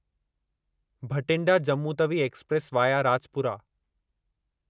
Bathinda Jammu Tawi express via Rajpura